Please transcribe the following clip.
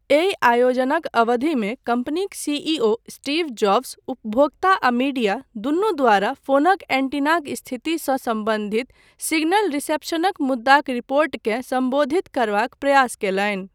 एहि आयोजनक अवधिमे कम्पनीक सीईओ स्टीव जॉब्स, उपभोक्ता आ मीडिया, दूनू द्वारा फोनक एन्टीनाक स्थितिसँ सम्बन्धित सिग्नल रिसेप्शनक मुद्दाक रिपोर्टकेँ सम्बोधित करबाक प्रयास कयलनि।